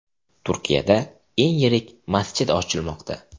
Turkiyada eng yirik masjid ochilmoqda .